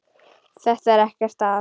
Það er ekkert að.